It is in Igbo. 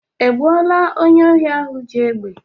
E gbuola onye ohi ahụ ji egbe?